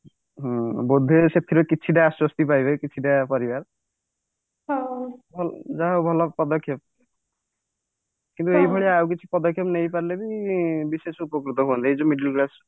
ହୁଁ ବୋଧେ ସେଥିରେ କିଛିଟା ଆଶ୍ଵସ୍ତି ପାଇବେ କିଛିଟା ପରିବାର ଯାହା ହଉ ଭଲ ପଦକ୍ଷେପ କିନ୍ତୁ ଏଇ ଭଳିଆ ଆଉ କିଛି ପଦକ୍ଷେପ ନେଇ ପାରିଲେ ବି ବିଶେଷ ଉପକୃତ ହୁଅନ୍ତେ ଏଇ ଯୋଉ middle class